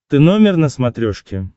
ты номер на смотрешке